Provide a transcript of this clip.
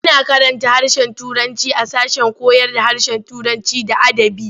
A na karanta harshen turanci a sashen koyarda harshen Turanci da adabi.